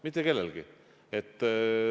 Mitte kellelgi.